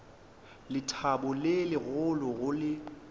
lethabo le legolo go le